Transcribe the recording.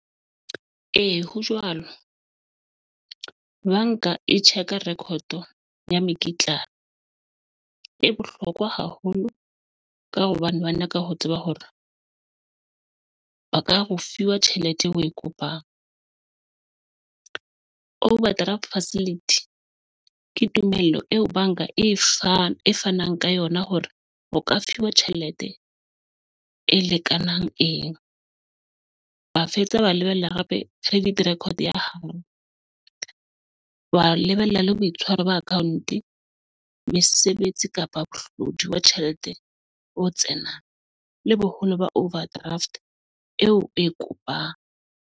Ee, ho jwalo, banka e check-a record ya mekitlane. E bohlokwa haholo ka hobane ba nyaka ho tseba hore ba ka re o fiwa tjhelete eo o e kopang overdraft facility ke tumellano eo banka e fang fanang ka yona hore o ka fuwa tjhelete e lekanang wa fetsa wa lebella credit record ya hao, wa lebella le boitshwaro ba account mesebetsi kapa mohlodi wa tjhelete o tsena le boholo ba overdraft eo e kopang.